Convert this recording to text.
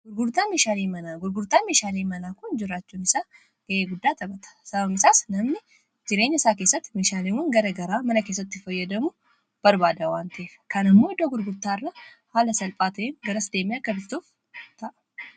gurgurtaa meeshalee manaa. gurgurtaa mishaalee manaa kun jiraachuun isaa ga'ee guddaa taphata sababni isaas namni jireenya isaa keessatti meshaaleewwan gara garaa mana keessatti fayyadamu barbaada waan ta'eef kan ammoo iddoo gurgurtaa irra haala salphaa ta'een garas deeme akka bitatuuf ta'a